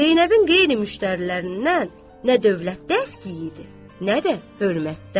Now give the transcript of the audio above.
Zeynəbin qeyri-müştərilərindən nə dövlətdə idi, nə də hörmətdə.